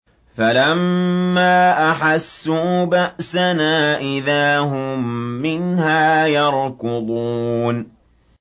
فَلَمَّا أَحَسُّوا بَأْسَنَا إِذَا هُم مِّنْهَا يَرْكُضُونَ